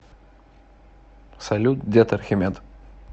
салют дед архимед